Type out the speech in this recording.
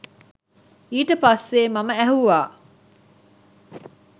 ඊට පස්සේ මම ඇහැව්වා